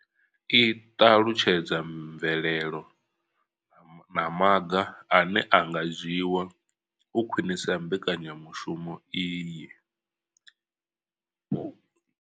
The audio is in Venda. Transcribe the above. I ṱalutshedza mvelelo na maga ane a nga dzhiwa u khwinisa mbekanyamushumo iyi.